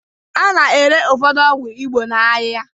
A na-ere ụfọdụ ọgwụ Igbo n'ahịa